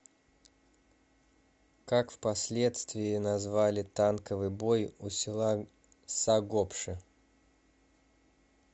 как впоследствии назвали танковый бой у села сагопши